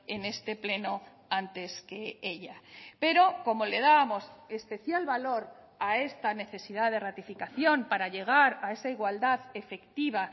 en este pleno antes que ella pero como le dábamos especial valor a esta necesidad de ratificación para llegar a esa igualdad efectiva